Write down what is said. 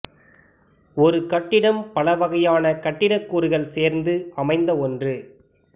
ஒரு கட்டிடம் பல வகையான கட்டிடக் கூறுகள் சேர்ந்து அமைந்த ஒன்று